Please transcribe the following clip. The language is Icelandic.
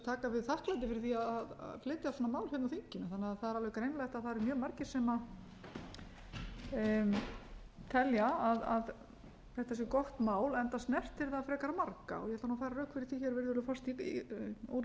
taka við þakklæti fyrir að flytja svona mál hérna á þinginu það er því alveg greinilegt að það eru mjög margir sem telja að þetta sé gott mál enda snertir það frekar marga ogég ætla að færa rök fyrir því virðulegur forseti